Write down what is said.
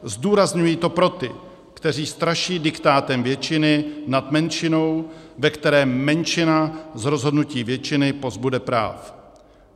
Zdůrazňuji to pro ty, kteří straší diktátem většiny nad menšinou, ve které menšina z rozhodnutí většiny pozbude práv.